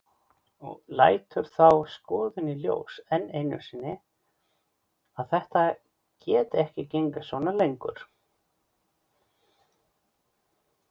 Lætur þá skoðun í ljós enn einu sinni að þetta geti ekki gengið svona lengur.